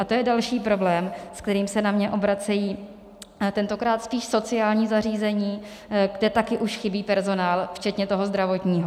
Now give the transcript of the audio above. A to je další problém, se kterým se na mě obracejí tentokrát spíš sociální zařízení, kde taky už chybí personál, včetně toho zdravotního.